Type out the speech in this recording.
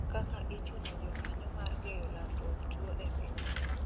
Kaka ichuno jokanyo mar geyo landruok two e piny no